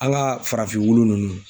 An ka farafin wulu nunnu